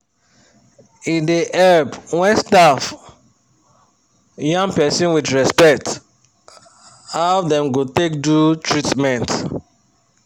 e da help when staff yan person with respect how them go take do treatment